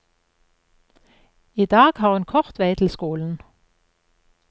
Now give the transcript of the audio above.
I dag har hun kort vei til skolen.